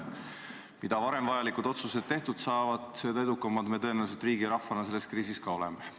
Mida varem vajalikud otsused tehtud saavad, seda edukamad me tõenäoliselt riigi ja rahvana selles kriisis oleme.